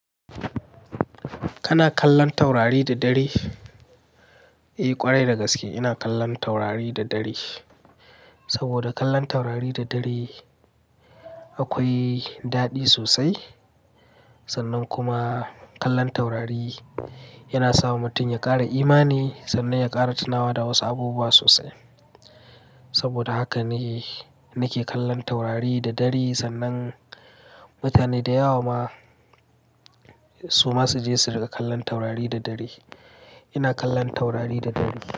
Kana kallon taurari da dare? Eh ƙwarai dagaske ina kallon taurari da dare. Saboda kallon taurari da dare akwai daɗi sosai. Sannan kuma kallon taurari yana sa mutum ya ƙara imani sannan ya ƙara tunawa da wasu abubuwa sosai. Saboda haka ne nake kallon taurari da dare sannan mutane da yawa ma su masu je su riƙa kallon taurari da dare. Ina kallon taurari da dare.